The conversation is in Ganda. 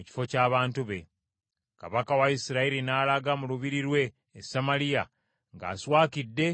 Kabaka wa Isirayiri n’alaga mu lubiri lwe e Samaliya ng’aswakidde era nga munyiivu.